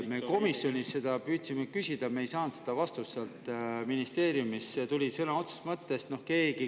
Me komisjonis püüdsime seda küsida, aga me ei saanud vastust ministeeriumist.